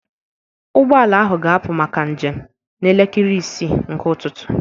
Ụgbọ ala ahụ ga-apụ maka njem n'elekere isii nke ụtụtụ